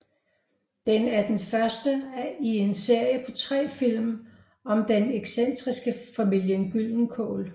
Den er den første i en serie på tre film om den excentriske familien Gyldenkål